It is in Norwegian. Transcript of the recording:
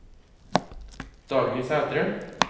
Dagny Sæthre